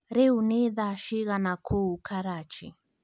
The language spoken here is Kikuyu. Rĩu nĩ thaa cigana kũu Karachi